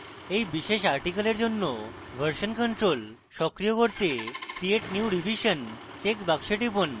এই বিশেষ article জন্য version control সক্রিয় করতে create new revision চেকবাক্সে টিপুন